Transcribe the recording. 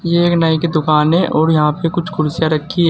ये एक नाई की दुकान है और यहां पे कुछ कुर्सियां रखी है।